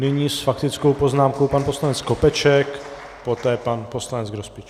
Nyní s faktickou poznámkou pan poslanec Skopeček, poté pan poslanec Grospič.